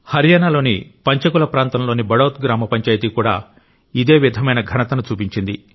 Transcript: హర్యానాలో పంచకుల ప్రాంతంలోని బడౌత్ గ్రామ పంచాయతీ కూడా ఇదే విధమైన ఘనతను చూపించింది